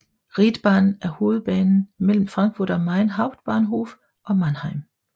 Riedbahn er hovedbanen mellem Frankfurt am Main Hauptbahnhof og Mannheim